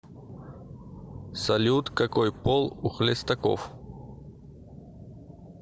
салют какой пол у хлестаков